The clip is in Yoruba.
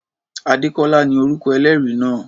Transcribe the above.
Adékọ́lá ni orúkọ ẹlẹ́rìí náà.